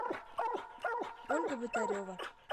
ольга вотарева